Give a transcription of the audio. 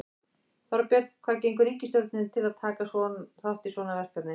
Þorbjörn, hvað gengur ríkisstjórninni til að taka þátt í svona verkefni?